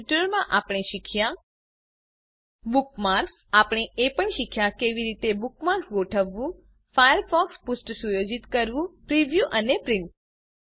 આ ટ્યુટોરીયલમાં આપણે શીખ્યા બુકમાર્ક્સ આપણે એ પણ શીખ્યા કે કેવી રીતે બુકમાર્ક્સ ગોઠવવું ફાયરફોક્સ પૃષ્ઠ સુયોજિત કરવું પ્રિવ્યુ અને પ્રિન્ટ